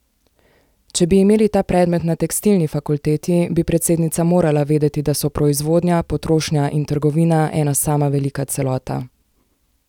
Če bi imeli ta predmet na tekstilni fakulteti, bi predsednica morala vedeti, da so proizvodnja, potrošnja in trgovina ena sama velika celota.